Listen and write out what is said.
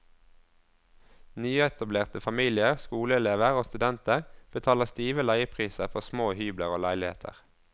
Nyetablerte familier, skoleelever og studenter betaler stive leiepriser for små hybler og leiligheter.